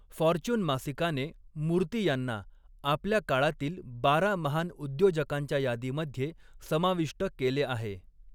Fortune मासिकाने मूर्ती यांना आपल्या काळातील बारा महान उद्योजकांच्या यादीमध्ये समाविष्ट केले आहे.